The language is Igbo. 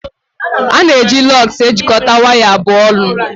A na-eji Lọgs ejikọta waya abụọ ọnụ